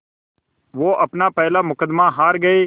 वो अपना पहला मुक़दमा हार गए